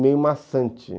meio maçante.